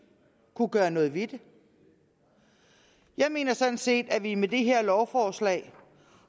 kunne gøre noget ved det jeg mener sådan set at vi med det her lovforslag